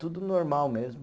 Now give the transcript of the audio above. Tudo normal mesmo.